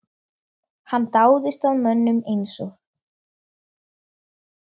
Hann dáðist að mönnum eins og